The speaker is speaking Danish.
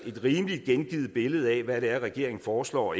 et rimeligt gengivet billede af hvad det er regeringen foreslår